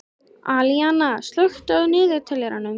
Alíana, slökktu á niðurteljaranum.